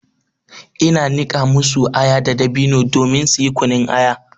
Ina niƙa masu aya da dabino domin suyi kunun aya.